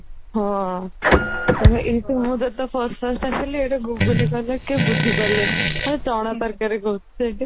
ହଁ ଏଠି ଯେବେ ମୁ first first ଆସିଲି ଏଟା ଘୁଗୁନି କହିଲେ କେହି ବୁଝି ପାରିଲେନି ଚଣା ତରାକରି କହୁଥିଲି